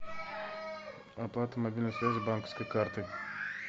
оплата мобильной связи банковской картой